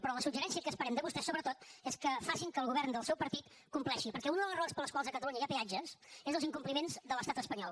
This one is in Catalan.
però el suggeriment que esperem de vostès sobretot és que facin que el govern del seu partit compleixi perquè una de les raons per les quals a catalunya hi ha peatges és els incompliments de l’estat espanyol